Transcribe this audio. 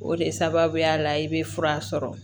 O de sababuya la i bɛ fura sɔrɔ